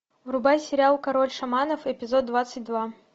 врубай сериал король шаманов эпизод двадцать два